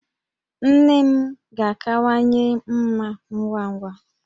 Nne m ga-akawanye mma ngwa ngwa